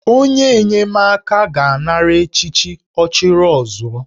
Onye enyemaka ga-anara echichi 'Ọchịrịọzụọ'